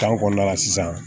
Tari kɔnɔna la sisan